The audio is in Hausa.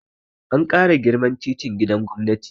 An ƙara girman titin gidan gwamnati